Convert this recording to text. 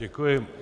Děkuji.